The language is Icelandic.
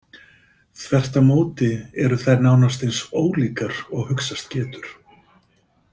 Þvert á móti eru þær nánast eins ólíkar og hugsast getur.